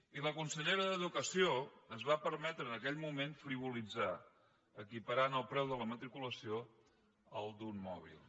i la consellera d’ensenyament es va permetre en aquell moment frivolitzar equiparant el preu de la matriculació al d’un mòbil